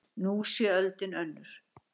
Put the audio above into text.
Nú sé öldin önnur